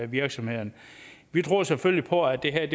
virksomheden vi tror selvfølgelig på at det her